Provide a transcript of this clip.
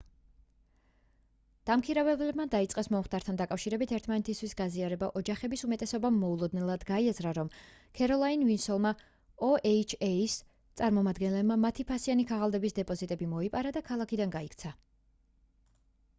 დამქირავებლებმა დაიწყეს მომხდართან დაკავშირებით ერთმანეთისთვის გაზიარება ოჯახების უმეტესობამ მოულოდნელად გაიაზრა რომ ქეროლაინ ვილსონმა oha-ს წარმომადგენელმა მათი ფასიანი ქაღალდების დეპოზიტები მოიპარა და ქალაქიდან გაიქცა